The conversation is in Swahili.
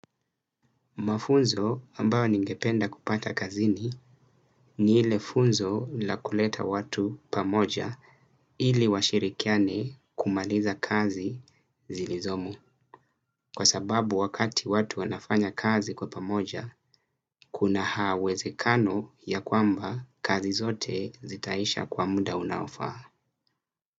Mafunzo ambayo ningependa kupata kazini ni ile funzo la kuleta watu pamoja ili washirikiane kumaliza kazi zilizomo. Kwa sababu wakati watu wanafanya kazi kwa pamoja, kuna haawezekano ya kwamba kazi zote zitaisha kwa muda unaofaa.